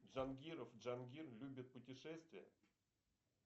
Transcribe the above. джангиров джангир любит путешествия